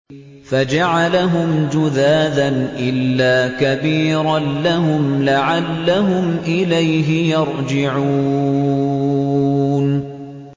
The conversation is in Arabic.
فَجَعَلَهُمْ جُذَاذًا إِلَّا كَبِيرًا لَّهُمْ لَعَلَّهُمْ إِلَيْهِ يَرْجِعُونَ